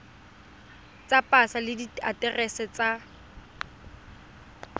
tsa pasa le diaterese tsa